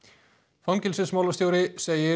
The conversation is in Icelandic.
fangelsismálastjóri segir